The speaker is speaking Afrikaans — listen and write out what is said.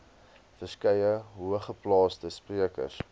verskeie hoogeplaasde sprekers